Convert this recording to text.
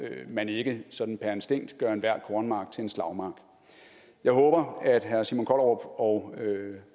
man ikke sådan per instinkt gør enhver kornmark til en slagmark jeg håber at herre simon kollerup og